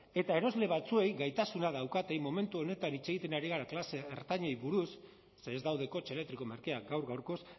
eta erosle batzuei gaitasuna daukatenei momentu honetan hitz egiten ari gara klase ertainari buruz ze ez daude kotxe elektriko merkeak gaur gaurkoz